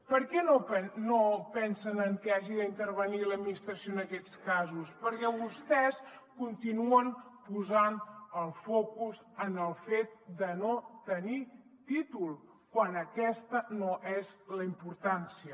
per què no pensen en que hagi d’intervenir l’administració en aquests casos perquè vostès continuen posant el focus en el fet de no tenir títol quan aquesta no és la importància